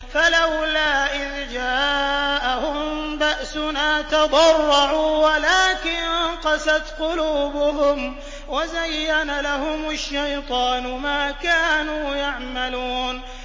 فَلَوْلَا إِذْ جَاءَهُم بَأْسُنَا تَضَرَّعُوا وَلَٰكِن قَسَتْ قُلُوبُهُمْ وَزَيَّنَ لَهُمُ الشَّيْطَانُ مَا كَانُوا يَعْمَلُونَ